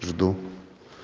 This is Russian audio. жду